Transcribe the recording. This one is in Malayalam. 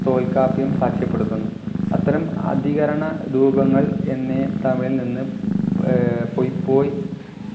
തോൽകാപ്പിയും സാക്ഷ്യപ്പെടുത്തുന്നു അത്തരം അധികരണ രൂപങ്ങൾ എന്നെ തമിഴിൽ നിന്ന് ഏർ പോയ്‌പോയി